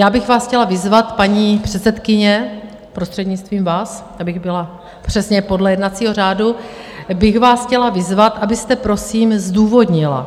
Já bych vás chtěla vyzvat, paní předsedkyně, prostřednictvím vás, abych byla přesně podle jednacího řádu, bych vás chtěla vyzvat, abyste prosím zdůvodnila